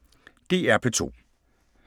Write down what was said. DR P2